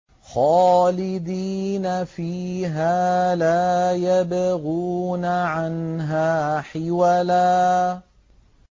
خَالِدِينَ فِيهَا لَا يَبْغُونَ عَنْهَا حِوَلًا